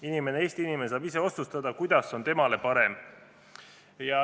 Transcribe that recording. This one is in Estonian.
Inimene, Eesti inimene saab ise otsustada, kuidas on temale parem.